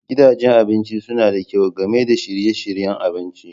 Gidajen abinci suna da kyau Game da shirye-shiryen abinci.